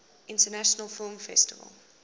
international film festival